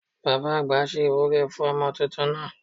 Baba àgbà ṣe ìwúre fún ọmọ tuntun náà